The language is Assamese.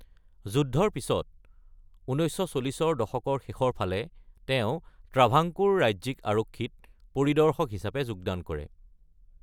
যুদ্ধৰ পিছত, ১৯৪০ৰ দশকৰ শেষৰ ফালে তেওঁ ট্ৰাভাংকোৰ ৰাজ্যিক আৰক্ষীত পৰিদৰ্শক হিচাপে যোগদান কৰে।